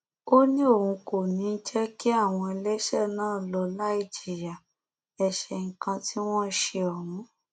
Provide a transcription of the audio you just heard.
ó ní òun kò ní í jẹ kí àwọn ẹlẹṣẹ náà lọ láì jìyà ẹṣẹ nǹkan tí wọn ṣe ohun